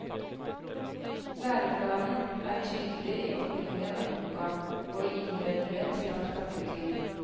Læreplanen er tydelig i oppbygningen av boka, og i innledningen til hvert kapittel.